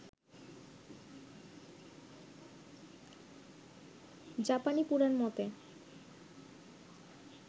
জাপানি পুরান মতে